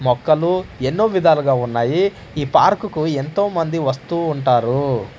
మొక్కలు ఎన్నో విధాలుగా ఉన్నాయి ఈ పార్కుకు ఎంతోమంది వస్తూ ఉంటారు.